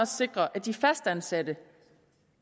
sikre at de fastansatte